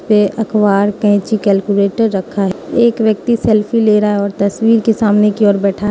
पे अखबार कैंची कैलकुलेटर रखा है एक व्यक्ति सेल्फी ले रहा है और तस्वीर के सामने की ओर बैठा--